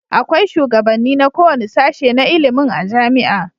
Akwai shugabanni na kowanne sashe na ilimin a jamia